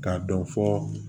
K'a dɔn fɔ